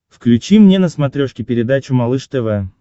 включи мне на смотрешке передачу малыш тв